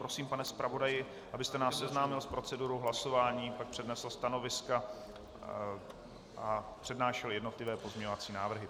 Prosím, pane zpravodaji, abyste nás seznámil s procedurou hlasování, pak přednesl stanoviska a přednášel jednotlivé pozměňovací návrhy.